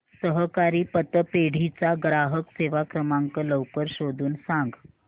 सहकारी पतपेढी चा ग्राहक सेवा क्रमांक लवकर शोधून सांग